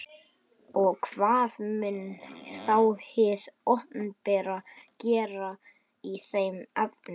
Og hvað mun þá hið opinbera gera í þeim efnum?